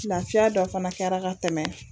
Lafiya dɔ fana kɛra ka tɛmɛ